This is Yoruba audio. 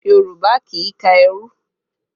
Yorùbá kì í ka ẹrú